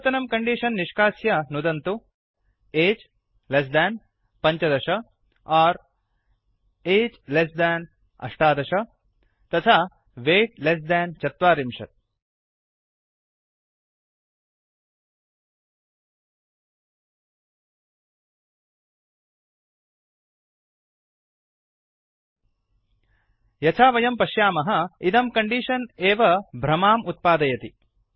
पूर्वतनं कण्डीषन् निष्कास्य नुदन्तु age less than १५ or age less than १८ तथा वैट् लेस् देन् ४० यथा वयं पश्यामः इदं कण्डीषन् एव भ्रमाम् उत्पादयति